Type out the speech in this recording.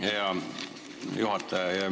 Hea juhataja!